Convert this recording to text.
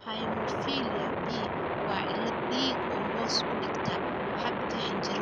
Hemophilia B waa cillad dhiig oo hoos u dhigta habka xinjirowga dhiigga.